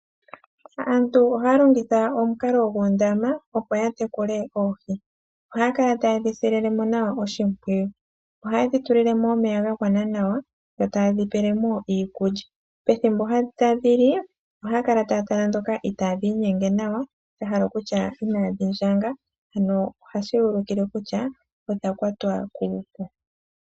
Aantu oha longitha omunkalo nguundama opo yatekule oohi, ohakala taya dhisililemo nawa oshipwiyu , oha yedhitulilemo omeya ga ngwana nawa yo tayedhipelemo iikulya pethimbo tadhili oha kala tatala dhoka ita dhinyenge nawa shahala okutya inadhindjanga ano oha shiyulikile kutya odhakwatwa kuvu.